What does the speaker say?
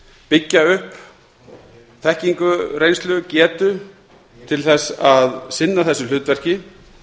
byggja upp þekkingu reynslu getu til þess að sinna þessu hlutverki